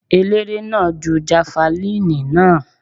Eléré náà ju jafalíìnì náà.